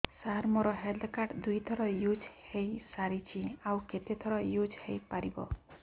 ସାର ମୋ health card ଦୁଇ ଥର ୟୁଜ଼ ହୈ ସାରିଛି ଆଉ କେତେ ଥର ୟୁଜ଼ ହୈ ପାରିବ